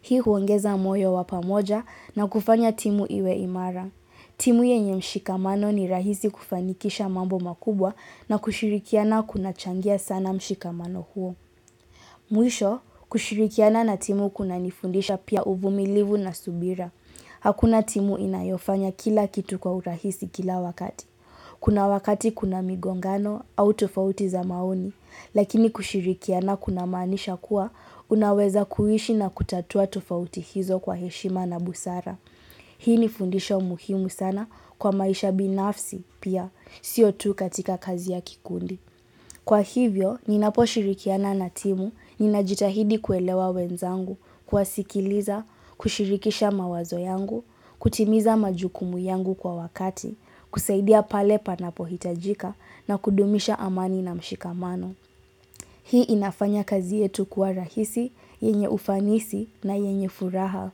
Hii huongeza moyo wa pamoja na kufanya timu iwe imara. Timu yenye mshikamano ni rahisi kufanikisha mambo makubwa na kushirikiana kunachangia sana mshikamano huo. Mwisho, kushirikiana na timu kunanifundisha pia uvumilivu na subira. Hakuna timu inayofanya kila kitu kwa urahisi kila wakati. Kuna wakati kuna migongano au tofauti za maoni. Lakini kushirikiana kuna maanisha kuwa, unaweza kuishi na kutatua tofauti hizo kwa heshima na busara. Hii ni fundisho muhimu sana kwa maisha binafsi pia, sio tu katika kazi ya kikundi. Kwa hivyo, ninaposhirikiana na timu, ninajitahidi kuelewa wenzangu, kuwasikiliza, kushirikisha mawazo yangu, kutimiza majukumu yangu kwa wakati, kusaidia pale panapo hitajika na kudumisha amani na mshikamano. Hii inafanya kazi yetu kuwa rahisi, yenye ufanisi na yenye furaha.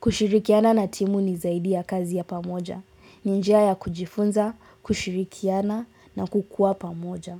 Kushirikiana na timu ni zaidi ya kazi ya pamoja. Ni njia ya kujifunza, kushirikiana na kukuwa pamoja.